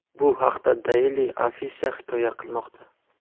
Bu haqda Daily Afisha hikoya qilmoqda .